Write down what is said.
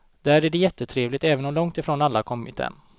Där är det jättetrevligt, även om långtifrån alla kommit än.